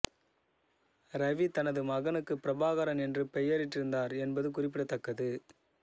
ரவி தனது மகனுக்கு பிரபாகரன் என்று பெயரிட்டிருந்தார் என்பது குறிப்பிடத்தக்கது